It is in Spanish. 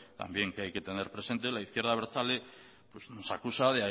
también que hay tener presente la izquierda abertzale nos acusa